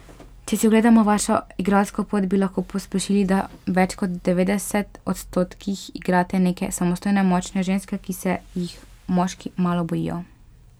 Če si ogledamo vašo igralsko pot, bi lahko posplošili, da v več kot devetdeset odstotkih igrate neke samostojne, močne ženske, ki se jih moški malo bojijo.